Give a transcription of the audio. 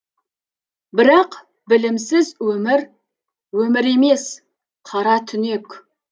бірақ білімсіз өмір өмір емес қара түнек